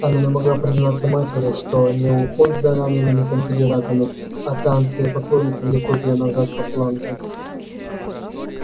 она не могла признаться матери что не уход за ранеными конфедератами а танцы и поклонники влекут её назад в атланту